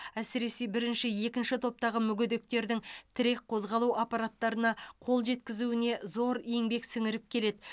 әсіресе бірінші екінші топтағы мүгедектердің тірек қозғалу аппараттарына қол жеткізуіне зор еңбек сіңіріп келеді